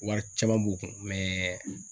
Wari caman b'u kun mɛɛ